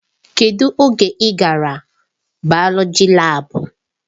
Kedụ oge ị gara bayoloji laabu?